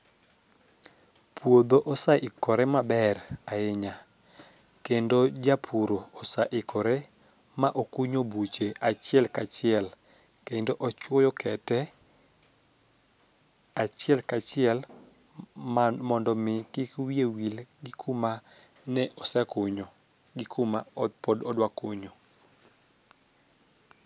puodho oseikore maber ahinya kendo japur oseikore ma okuonyo buche achiel kachiel kendo ochuoyo kete achiel kachiel mar mondo mi kik wiye wil gi kuma osekunyo gi kuma pod odwa kunyo